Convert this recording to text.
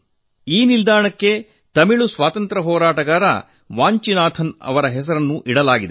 ಈ ನಿಲ್ದಾಣಕ್ಕೆ ತಮಿಳು ಸ್ವಾತಂತ್ರ್ಯ ಹೋರಾಟಗಾರ ವಾಂಚಿನಾಥನ್ ಜಿ ಅವರ ಹೆಸರನ್ನು ಇಡಲಾಗಿದೆ